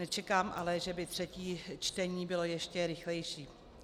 Nečekám ale, že by třetí čtení bylo ještě rychlejší.